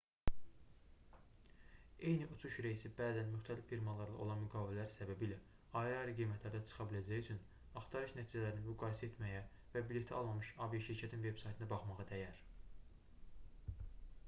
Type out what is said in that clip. eyni uçuş reysi bəzən müxtəlif firmalarla olan müqavilələr səbəbilə ayrı-ayrı qiymətlərdə çıxa biləcəyi üçün axtarış nəticələrini müqayisə etməyə və bileti almamış aviaşirkətin veb-saytına baxmağa dəyər